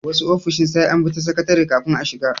Wasu ofishin sai an bi ta sakatare kafin a shiga.